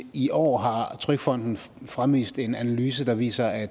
i år har trygfonden fremvist en analyse der viser at